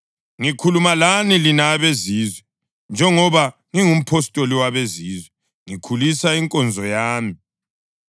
Ngikhuluma lani lina abeZizwe. Njengoba ngingumpostoli wabezizwe, ngikhulisa inkonzo yami